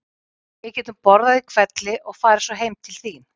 Við getum borðað í hvelli og farið svo heim til þín.